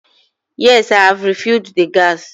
Yes, I have refilled the gas.